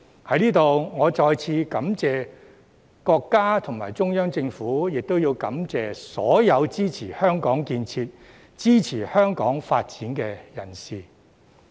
在此，我再次感謝國家和中央政府，亦感謝所有支持香港建設、支持香港發展的人士。